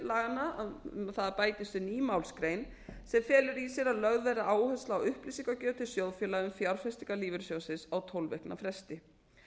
laganna um að það bætist við ný málsgrein sem felur í sér að lögð verði áhersla á upplýsingagjöf til sjóðfélaga um fjárfestingar lífeyrissjóðsins á tólf vikna fresti